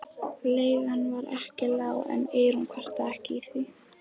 Leigan var ekki lág en Eyrún kvartaði ekki því